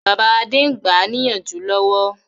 Bàbá Adé ń gbáà níyànjú lọ́wọ́